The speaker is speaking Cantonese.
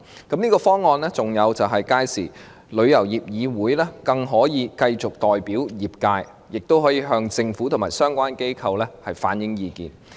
這方案還可令旅議會更能繼續代表業界，亦可以向政府和相關機構反映意見。